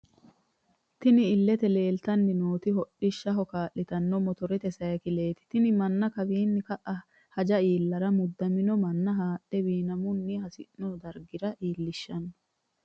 Tinni illete leelitanni nooti hodhishshaho kaalitano mottorrete sayiikileti tinni Mana kawiini ka'a hajja iilarra mudamino Mana haadhe wiinamunni hasino dariga iiliahshano.